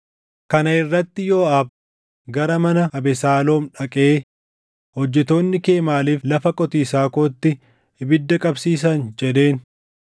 Kana irratti Yooʼaab gara mana Abesaaloom dhaqee, “Hojjettoonni kee maaliif lafa qotiisaa kootti ibidda qabsiisan?” jedheen.